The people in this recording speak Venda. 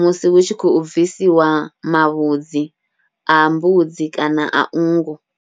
musi hu tshi khou bvisiwa mavhudzi a mbudzi kana a nngu.